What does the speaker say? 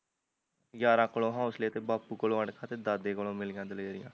ਯਾਰਾਂ ਕੋਲੋਂ ਹੋਸਲੇ ਤੇ ਬਾਪੂ ਕੋਲੋਂ ਅਣਖ ਤੇ ਦਾਦੇ ਕੋਲੋਂ ਮਿਲੀਆਂ ਦਲੇਰੀਆਂ